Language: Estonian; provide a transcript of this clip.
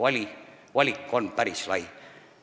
Nii et valik on päris lai.